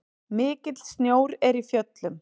Mikill snjór er í fjöllum.